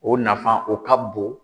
O nafan o ka bon.